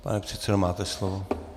Pane předsedo, máte slovo.